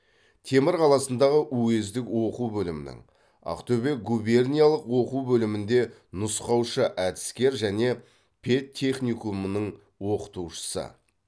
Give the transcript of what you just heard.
темір қаласындағы уездік оқу бөлімінің ақтөбе губерниялық оқу бөлімінде нұсқаушы әдіскер және педтехникумының оқытушысы